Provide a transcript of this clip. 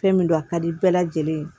Fɛn min don a ka di bɛɛ lajɛlen ye